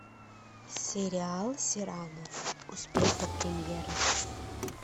сериал сирано успеть до премьеры